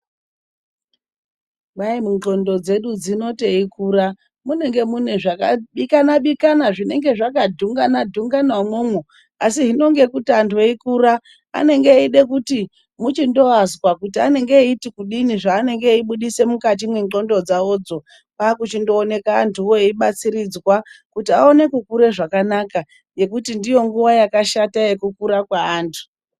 Kwai ngqondo dzedu dzino teikura munenge mune zvakabikana-bikana, zvinenge zvaka dhungana-dhungana umwomwo. Asi hino ngekuti anthu eikura anode kuti muchindoazwa kuti anenge eida kuti kudini zveanenge eibudisa mukati mwengqondo dzawodzo, kwaakuchindooneka anthuwo eibatsiridzwa kuti aone kukure zvakanaka. Ngekuti ndiyo nguwa yakashata ye kukura kweanthu.